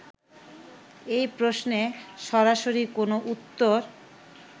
এই প্রশ্নে সরাসরি কোন উত্তর